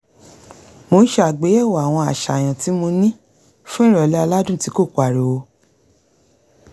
mò ń ṣe àgbéyẹ̀wò àwọn àṣàyàn tí mo ní fún ìrọ̀lẹ́ aládùn tí ko pariwo